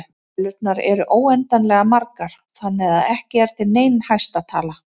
Tölurnar eru óendanlega margar þannig að ekki er til nein hæsta tala.